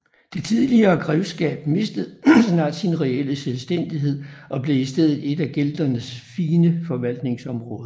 Det tidligere grevskab mistede snart sin reelle selvstændighed og blev i stedet ét af Gelderns fire forvaltningsområder